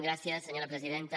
gràcies senyora presidenta